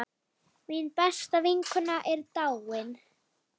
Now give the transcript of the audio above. Mín besta vinkona er dáin.